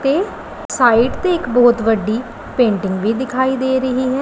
ਤੇ ਸਾਈਡ ਤੇ ਇਕ ਬਹੁਤ ਵੱਡੀ ਪੇਂਟਿੰਗ ਵੀ ਦਿਖਾਈ ਦੇ ਰਹੀ ਹੈ।